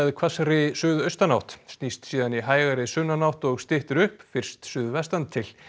hvassri suðaustanátt snýst síðan í hægari sunnanátt og styttir upp fyrst suðvestantil